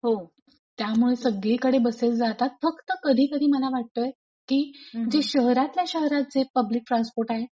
हो. त्यामुळे सगळीकडे बसेस जातात फक्त कधीकधी मला वाटतय की शहरातल्या शहरात जे पब्लिक ट्रान्सपोर्ट आहेत;